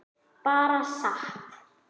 Bara sat.